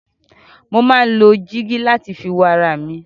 Mo máa ń lo dígí láti fi wo ara mi.